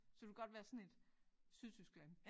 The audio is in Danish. Så det kunne godt være sådan et Sydtyskland